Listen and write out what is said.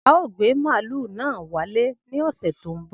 Ao gbe malu na wale ni ose to n bo.